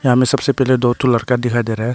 यहां में सबसे पहिले दो ठो लड़का दिखाई दे रहा है।